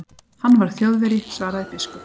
Hann var Þjóðverji, svaraði biskup.